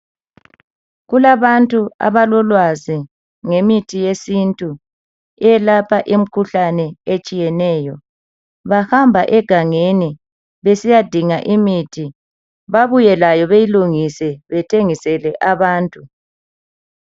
Kulabantu abalolwazi ngemithi yesintu eyelapha imikhuhlane etshiyeneyo, bahamba egangeni besiyadinga imithi babuyelayo beyilungise bethengisele abantu.